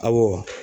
Awɔ